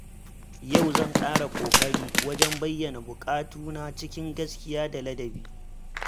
Yau zan ƙara ƙoƙari wajen bayyana buƙatuna cikin gaskiya da ladabi.